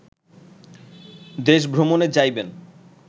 দেশভ্রমণে যাইবেন